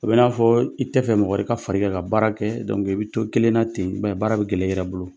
A bɛ i n'a fɔ i tɛ fɛ mɔgɔ wɛrɛ ka fara i kan ka baara kɛ. i bɛ to kelenna ten, baara bɛ gɛlɛya i yɛrɛ bolo.